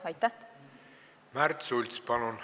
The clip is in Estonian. Märt Sults, palun!